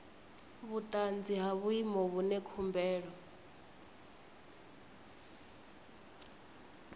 vhuanzi ha vhuimo vhune khumbelo